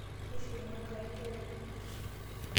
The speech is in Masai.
Meishiunye enkai nkera enyenak.